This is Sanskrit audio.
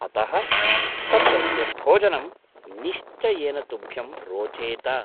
अतः तत्रत्यं भोजनं निश्चयेन तुभ्यं रोचेत।